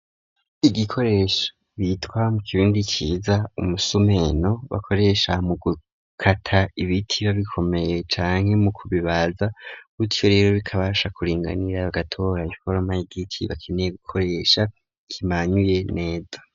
Igikoresho bitwa mu kirundi ciza umusumeno bakoresha mu gukata ibiti iyo bikomeye canke mu kubibaza, Gutyo rero bikabasha kuringanira bagatora iforoma y'igiti bakeneye gukoresha kimanyuye neza.